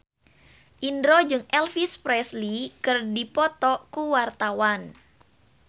Indro jeung Elvis Presley keur dipoto ku wartawan